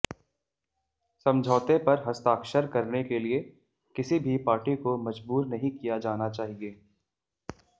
समझौते पर हस्ताक्षर करने के लिए किसी भी पार्टी को मजबूर नहीं किया जाना चाहिए